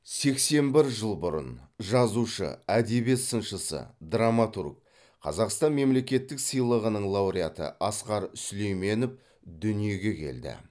сексен бір жыл бұрын жазушы әдебиет сыншысы драматург қазақстан мемлекеттік сыйлығының лауреаты асқар сүлейменов дүниеге келді